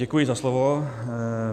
Děkuji za slovo.